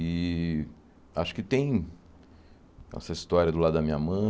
E acho que tem essa história do lado da minha